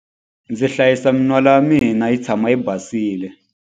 Ndzi hlayisa min'wala ya mina yi tshama yi basile.